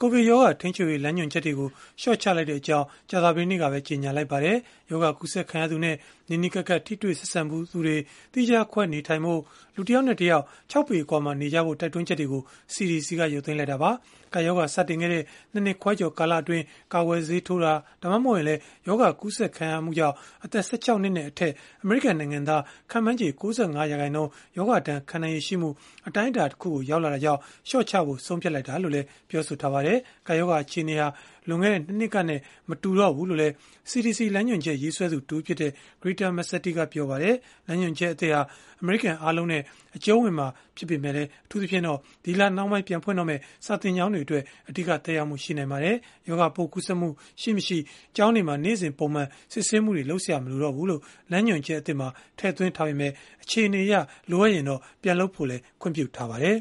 ကိုဗစ်ရောဂါထိန်းချုပ်ရေး လမ်းညွှန်ချက်တွေကို လျှော့ချလိုက်ကြောင်း ကြာသပတေးနေ့က ကြေညာလိုက်ပါတယ်။ ရောဂါကူးစက်ခံရသူနဲ့ နီးနီးကပ်ကပ် ထိတွေ့ဆက်ဆံဖူးသူတွေ သီးခြားခွဲ နေထိုင်ဖို့၊ လူတယောက်နဲ့တယောက် ၆ ပေ အကွာမှာနေကြဖို့ဆိုတဲ့ တိုက်တွန်းချက်တွေကို CDC က ရုပ်သိမ်းလိုက်တာပါ။ ကပ်ရောဂါ စတင်ခဲ့တဲ့ ၂ နှစ်ခွဲကျော်ကာလအတွင်း ကာကွယ်ဆေးထိုးတာ ဒါမှမဟုတ် ရောဂါကူးစက်ခံရတာကြောင့် အသက် ၁၆ နှစ်နဲ့အထက် အမေရိကန်နိုင်ငံသား ခန့်မှန်းခြေ ၉၅ ရာခိုင်နှုန်း ရောဂါဒဏ်ခံနိုင်ရည်ရှိမှုအတိုင်းအတာတခုကို ရောက်လာတာကြောင့် လျှော့ချဖို့ ဆုံးဖြတ်တာလို့လည်း ပြောပါတယ်။ ကပ်ရောဂါ အခြေအနေဟာ လွန်ခဲ့တဲ့ ၂ နှစ်ကနဲ့ မတူတော့ဘူးလို့လည်း CDC လမ်းညွှန်ချက် ရေးဆွဲသူ တဦးဖြစ်တဲ့ Greta Massetti ကပြောပါတယ်။ လမ်းညွှန်ချက်သစ်ဟာ အမေရိကန် အားလုံးနဲ့ အကျုံးဝင်မှာဖြစ်ပေမဲ့ အထူးသဖြင့် ဒီလထဲမှာ ပြန်ဖွင့်တော့မယ့် စာသင်ကျောင်းတွေအတွက် အဓိက သက်ရောက်မှု ရှိနိုင်ပါတယ်။ ရောဂါပိုး ကူးစက်မှု ရှိမရှိ ကျောင်းတွေမှာ နေ့စဉ်ပုံမှန် စစ်ဆေးမှုတွေ လုပ်စရာ မလိုတော့ဘူးလို့ လမ်းညွှန်ချက်သစ်မှာ ထည့်သွင်းထားပေမဲ့ အခြေအနေအရ လိုအပ်ရင် ပြန်လုပ်ခွင့်ပြုထားပါတယ်